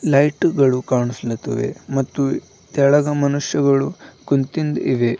ಲೈಟುಗಳು ಕಾಣಿಸ್ತಿಲಿವೆ ಮತ್ತು ತೆಳಗ ಮನುಷ್ಯಗಳು ಕುಂತಿದ್ ಇವೆ.